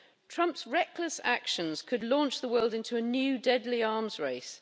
Trump's reckless actions could launch the world into a new, deadly arms race.